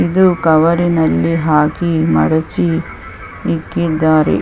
ಇದು ಕವರಿನಲ್ಲಿ ಹಾಕಿ ಮಡಿಚಿ ಇಕ್ಕಿದ್ದಾರೆ .